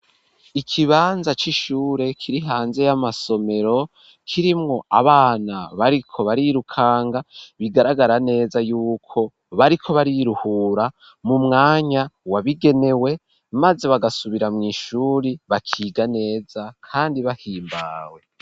Ikibanza c'ishure kiri hanze y'amasomero kirimwo abana bariko barirukanga bigaragara neza y'uko bariko bariruhura mu mwanya wabigenewe maze bagasubira mw’ishuri bakiga neza kandi bahimbawe.